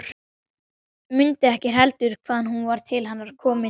Mundi ekki heldur hvaðan hún var til hennar komin.